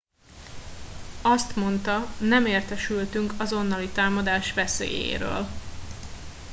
azt mondta nem értesültünk azonnali támadás veszélyéről